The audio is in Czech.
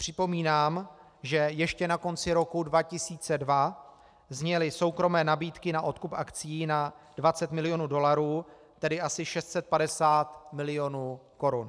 Připomínám, že ještě na konci roku 2002 zněly soukromé nabídky na odkup akcií na 20 milionů dolarů, tedy asi 650 milionů korun.